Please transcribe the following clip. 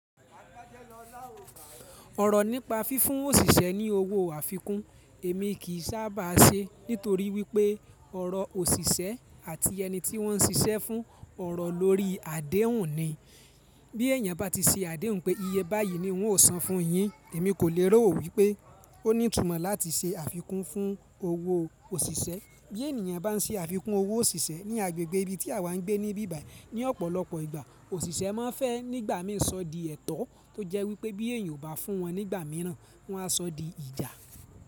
Ọ̀rọ̀ nípa fi fún òṣìṣẹ́ ní owó àfikún èmi kì sábà ṣe nítorí wípé ọ̀rọ̀ òṣìṣẹ́ àti ẹni tíwọn ṣiṣẹ́ fún ọ̀rọ̀ lórí àdéhùn ni. Bí èèyàn bá ti ṣe àdéhùn pé iye báyìí ni n óò san fún yin, èmi kò lérò wípé ó ní ìtumọ̀ láti ṣe àfikún fún owó òṣìṣẹ́. Bí ènìyàn bá ń ṣe àfikún owó òṣìṣẹ́ ní agbègbè ibi tí àwa ń gbé níbí báyìí, ní ọ̀pọ̀lọpọ̀ ìgbà, òṣìṣẹ́ máa ń fẹ́ nígbà mìí sọ di ẹtọ tó jẹ́ wípé bí èèyàn ò bá fún wọn nígbà mìíràn, wọn á sọ di ìjà.